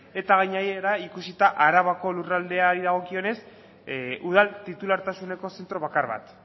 eta gainera ikusita arabako lurraldeari dagokionez udal titulartasuneko zentro bakar bat